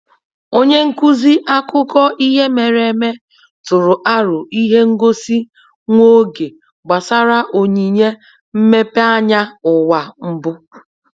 Onye nkuzi akụkọ ihe mere eme tụrụ aro ihe ngosi nwa oge gbasara onyinye mmepeanya ụwa mbụ.